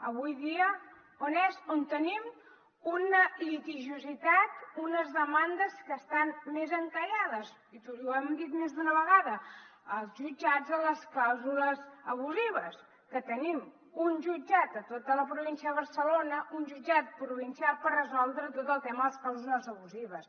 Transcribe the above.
avui dia on és on tenim una litigiositat unes demandes que estan més encallades i ho hem dit més d’una vegada als jutjats de les clàusules abusives perquè tenim un jutjat a tota la província de barcelona un jutjat provincial per resoldre tot el tema de les clàusules abusives